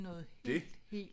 Det